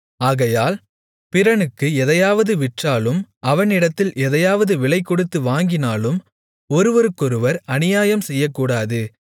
ஆகையால் பிறனுக்கு எதையாவது விற்றாலும் அவனிடத்தில் எதையாவது விலைகொடுத்து வாங்கினாலும் ஒருவருக்கொருவர் அநியாயம் செய்யக்கூடாது